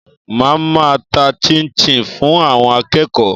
Màá ma ta 'chinchin' fún àwon akéèkó